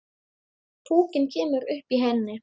Púkinn kemur upp í henni.